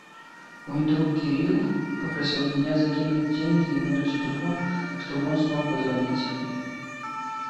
мой друг кирилл попросил меня закинуть деньги ему на телефон чтобы он смог позвонить